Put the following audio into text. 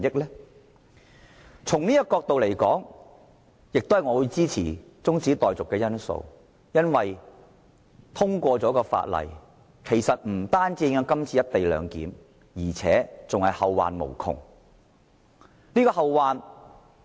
因此，從這個角度來看，我支持這項中止待續議案，因為通過《條例草案》將不單會影響"一地兩檢"的安排，而且更會後患無窮。